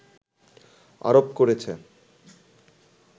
আরোপ করেছে